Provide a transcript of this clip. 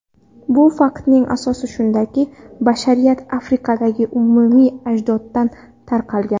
Bu faktning asosi shundaki, bashariyat Afrikadagi umumiy ajdoddan tarqalgan.